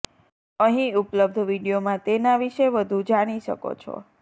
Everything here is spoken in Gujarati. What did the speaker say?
અહીં ઉપલબ્ધ વીડિયોમાં તેના વિશે વધુ જાણી શકો છો